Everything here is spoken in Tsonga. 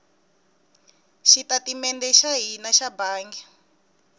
xitatimede xa hina xa bangi